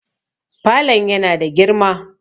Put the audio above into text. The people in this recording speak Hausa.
falon yana da girma